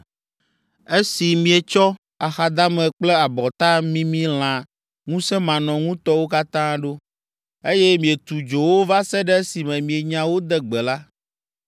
Esi mietsɔ axadame kple abɔta mimi lã ŋusẽmanɔŋutɔwo katã ɖo, eye mietu dzo wo va se ɖe esime mienya wo de gbe la,